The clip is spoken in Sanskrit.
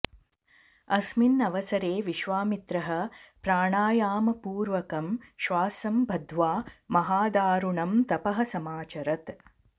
अस्मिन् अवसरे विश्वामित्रः प्राणायामपूर्वकं श्वासं बद्ध्वा महादारुणं तपः समाचरत्